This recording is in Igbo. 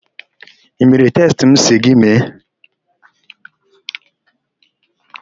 I mere testị m sị gị mee?